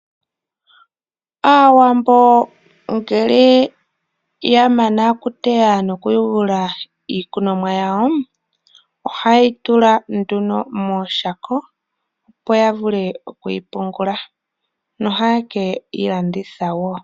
Aawambo ngele ya mana oku teya noku yugula iikunomwa yawo, oha yeyi tula nduno mooshako opo ya vule oku yi pungula. No haye keyi landitha wo.